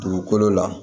Dugukolo la